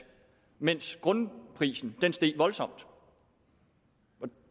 mens grundprisen steg voldsomt